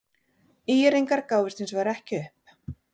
ÍR-ingar gáfust hins vegar ekki upp.